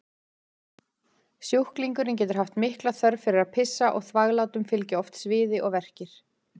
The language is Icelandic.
Sjúklingurinn getur haft mikla þörf fyrir að pissa og þvaglátum fylgja oft sviði og verkir.